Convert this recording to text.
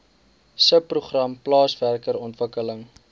subprogram plaaswerker ontwikkeling